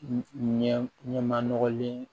Ɲɛ ɲɛma nɔgɔlen